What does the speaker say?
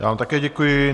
Já vám také děkuji.